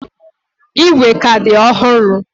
Igwe ka dị ọhụrụ.